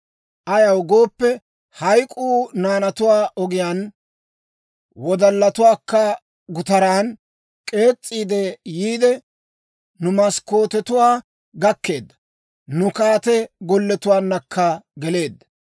Ayaw gooppe, hayk'k'uu naanatuwaa ogiyaan, wodallatuwaakka gutaran k'ees'iidde yiide, nu maskkootetuwaa gakkeedda; nu kaate golletuwaankka geleedda.